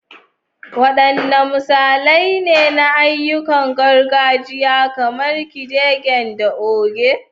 Waɗanne misalai ne na ayyukan gargajiya kamar kidegen da ode?